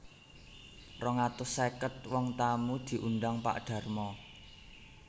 Rong atus sèket wong tamu diundang Pak Darmo